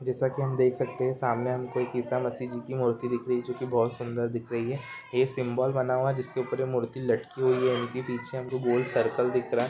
जेसा की हम देख सकते हे सामने हमको एक ईशा मसिजी की मूर्ति दिख रही है जो की बहुत सुंदर दिख रही है ये सिम्बोल बना हुवा है जिसके ऊपर ये मूर्ति लटकी हुयी है उसके पीछे हमको गोल सर्कल दिख रहा हैं।